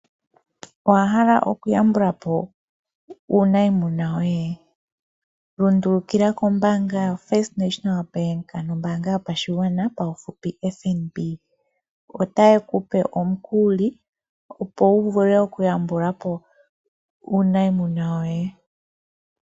Owahala okuyambula po uuniimuna woye? Lundulukila kombaanga yoFirst National Bank ano ombaanga yopashigwana paufupi FNB ota ye ku pe omukuli opo wu vule okuyambula po uuniimuna woye.